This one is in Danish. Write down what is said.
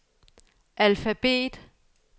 alfabet